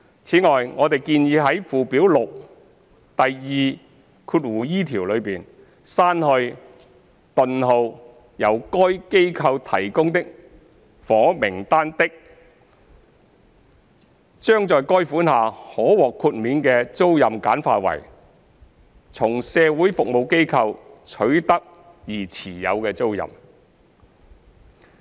此外，我們建議在附表6第 2e 條中，刪去"、由該機構提供的房屋單位的"，將在該款下可獲豁免的租賃簡化為"從社會服務機構取得而持有的租賃"。